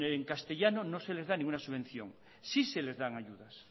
en castellano no se les da ninguna subvención sí se les dan ayudas